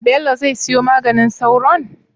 Bello zai siyo maganin sauron?